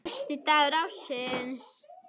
Versti dagur ársins